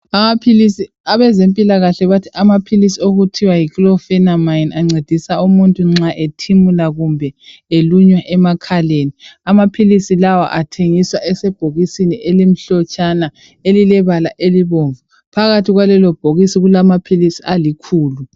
Abezempilakahle bathi amaphilisi okuthiwa yi"chlorphernamine" ancedisa umuntu nxa ethimula kumbe elunywa emkhaleni. Amaphilisi lawa athengiswa esebhokisini elimhlotshana elile bala elibomvu. Phakathi kwalelo bhokisi kulamaphilisi alikhulu.